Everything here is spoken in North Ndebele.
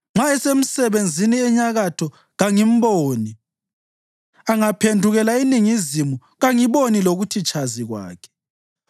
Nxa esemsebenzini enyakatho, kangimboni; angaphendukela eningizimu, kangiboni lokuthi tshazi kwakhe.